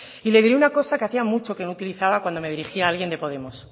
y le diré una cosa que hacía mucho que no utilizaba cuando me dirigía alguien de podemos